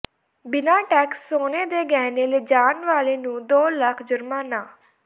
ਬਿਨਾਂ ਟੈਕਸ ਸੋਨੇ ਦੇ ਗਹਿਣੇ ਲਿਜਾਣ ਵਾਲੇ ਨੂੰ ਦੋ ਲੱਖ ਜੁਰਮਾਨਾ